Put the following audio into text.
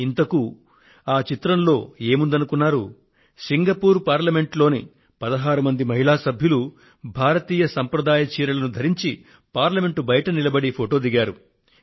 ఇంతకూ ఆ చిత్రంలో ఏముందనుకున్నారు సింగపూర్ పార్లమెంట్ లోని 16 మంది మహిళా సభ్యులు భారతీయ సంప్రదాయ చీరలను ధరించి పార్లమెంట్ బయట నిలబడి ఫొటో దిగారు